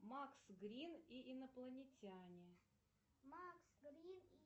макс грин и инопланетяне